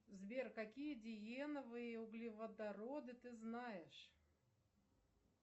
сбер какие диеновые углеводороды ты знаешь